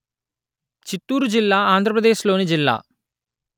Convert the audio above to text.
చిత్తూరు జిల్లా ఆంధ్రప్రదేశ్ లోని జిల్లా